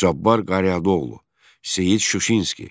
Cabbar Qaryağdıoğlu, Seyid Şuşinski,